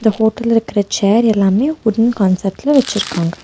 இந்த ஹோட்டல்ல இருக்குற சேர் எல்லாமே வுட்டன் கான்செப்ட்ல வெச்சிருக்காங்க.